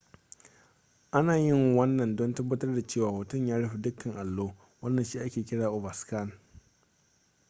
ana yin wannan don tabbatar da cewa hoton ya rufe dukkan allo wannan shi ake kira overscan